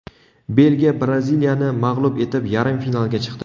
Belgiya Braziliyani mag‘lub etib, yarim finalga chiqdi.